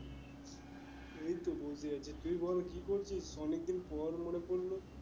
এই তো বসে আছি তুই বল কি করছিস, অনেকদিন পর মনে পড়লো